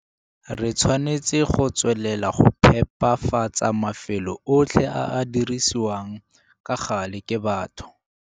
Re tshwanetse go tswelela go phepafatsa mafelo otlhe a a dirisiwang ka gale ke batho.